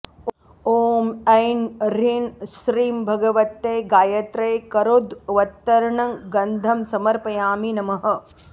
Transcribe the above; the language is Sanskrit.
ॐ ऐं ह्रीं श्रीं भगवत्यै गायत्र्यै करोद्वर्त्तनं गन्धं समर्पयामि नमः